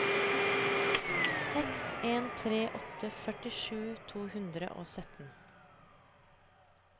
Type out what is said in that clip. seks en tre åtte førtisju to hundre og sytten